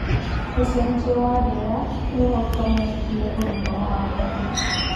Ũcenjia wa rĩera nĩũhotometie ũgima wa mwĩrĩ